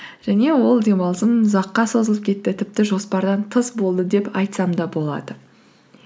және ол демалысым ұзаққа созылып кетті тіпті жоспардан тыс болды деп айтсам да болады